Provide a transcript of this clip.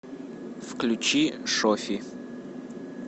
включи шоффи